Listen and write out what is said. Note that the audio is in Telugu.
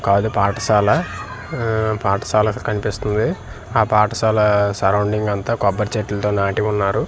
కాదు పాఠశాల ఆహ్ పాఠశాల కనిపిస్తుంది ఆ పాఠశాల సోర్రౌండింగ్ అంతా కొబ్బరి చెట్లతో నాటి ఉన్నారు.